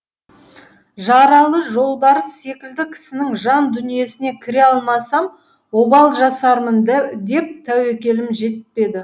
жаралы жолбарыс секілді кісінің жан дүниесіне кіре алмасам обал жасармын деп тәуекелім жетпеді